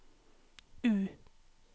U